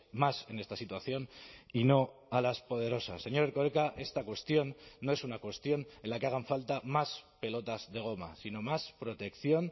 más en esta situación y no a las poderosas señor erkoreka esta cuestión no es una cuestión en la que hagan falta más pelotas de goma sino más protección